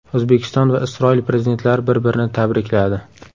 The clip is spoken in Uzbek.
O‘zbekiston va Isroil prezidentlari bir-birini tabrikladi.